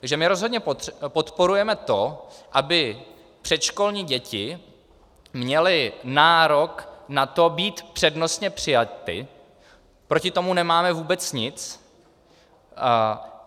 Takže my rozhodně podporujeme to, aby předškolní děti měly nárok na to být přednostně přijaty, proti tomu nemáme vůbec nic.